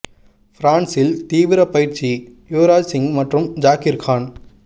பிரான்சில் தீவீர பயிற்சி யுவராஜ் சிங் மற்றும் ஜாகீர் கான்